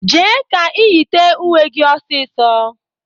Jee ka ị yite uwe gị ọsịsọ!